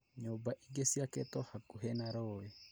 Nyũmba ingĩ ciakĩtwo hakuhĩ na rũūĩ